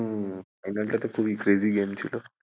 হুম final টা তো খুবই crazy game ছিল।